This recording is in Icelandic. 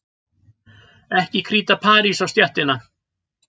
Ekki kríta parís á stéttina.